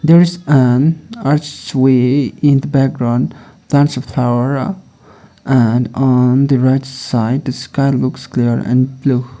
there is an arch way in the background bunch of flower uh and on the right side the sky looks clear and blue.